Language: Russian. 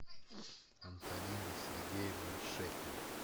антонина сергеевна шепель